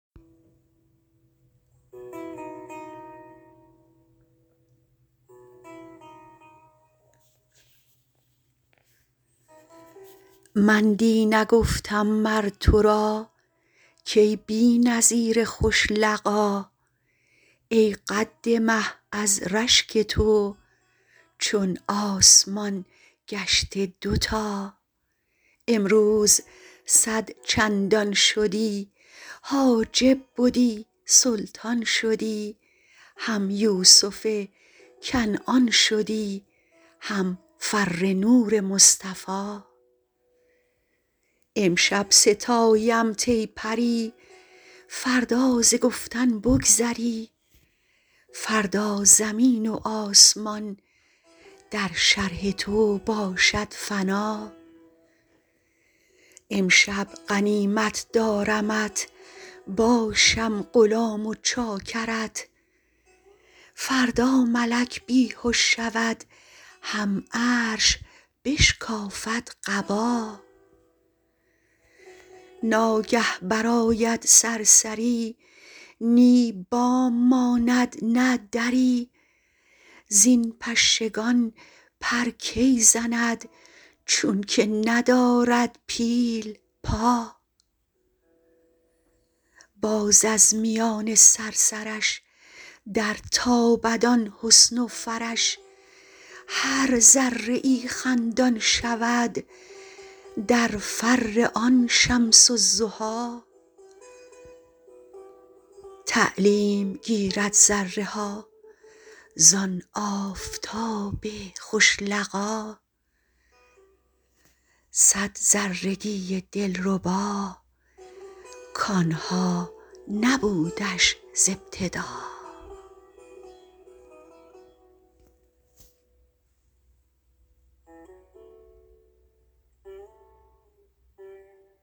من دی نگفتم مر تو را کای بی نظیر خوش لقا ای قد مه از رشک تو چون آسمان گشته دوتا امروز صد چندان شدی حاجب بدی سلطان شدی هم یوسف کنعان شدی هم فر نور مصطفی امشب ستایمت ای پری فردا ز گفتن بگذری فردا زمین و آسمان در شرح تو باشد فنا امشب غنیمت دارمت باشم غلام و چاکرت فردا ملک بی هش شود هم عرش بشکافد قبا ناگه برآید صرصری نی بام ماند نه دری زین پشگان پر کی زند چونک ندارد پیل پا باز از میان صرصرش درتابد آن حسن و فرش هر ذره ای خندان شود در فر آن شمس الضحی تعلیم گیرد ذره ها زان آفتاب خوش لقا صد ذرگی دلربا کان ها نبودش ز ابتدا